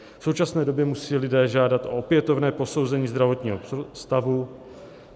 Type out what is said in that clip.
V současné době musí lidé žádat o opětovné posouzení zdravotního stavu.